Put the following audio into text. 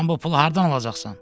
Sən bu pulu hardan alacaqsan?